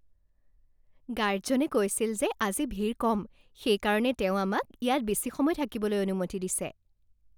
গাৰ্ডজনে কৈছিল যে আজি ভিৰ কম। সেইকাৰণে তেওঁ আমাক ইয়াত বেছি সময় থাকিবলৈ অনুমতি দিছে।